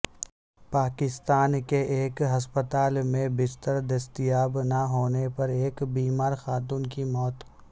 پاکستان کے ایک ہسپتال میں بستر دستیاب نہ ہونے پر ایک بیمار خاتون کی موت